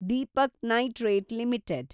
Deepak nitrite limited